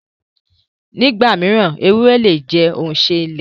Nígbà mí, èwùré le jẹ̀ ọ̀unṣẹ ilẹ̀.